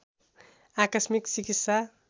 आकस्मिक चिकित्सा